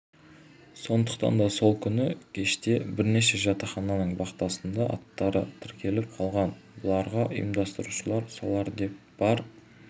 сондықтан да сол күні кеште бірнеше жатақхананың вахтасында аттары тіркеліп қалған бұларға ұйымдастырушылар осылар деп бар